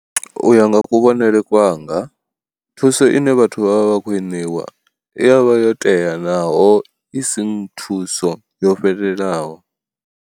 U ya nga kuvhonele kwanga thuso ine vhathu vha vha vha khou i ṋeiwa i ya vha yo tea naho i si thuso yo fhelelaho.